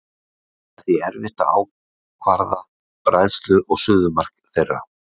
Það er því erfitt að ákvarða bræðslu- og suðumark þeirra.